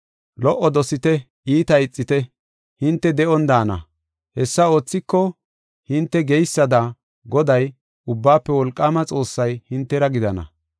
Lo77o dosite; iita ixite; hinte de7on daana. Hessa oothiko, hinte geysada, Goday, Ubbaafe Wolqaama Xoossay hintera gidana.